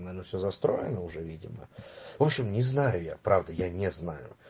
ну наверно все застроено уже видимо в общем не знаю я правда я не знаю